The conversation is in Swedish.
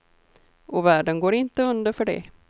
Och världen går inte under för det.